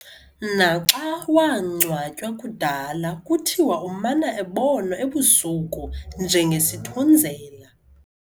Naxa wangcwatywa kudala kuthiwa umana ebonwa ebusuku njengesithunzela.